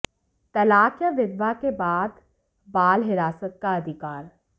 तलाक या विधवा के बाद बाल हिरासत का अधिकार